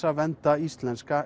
að vernda íslenska